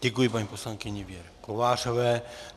Děkuji paní poslankyni Věře Kovářové.